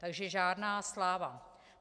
Takže žádná sláva.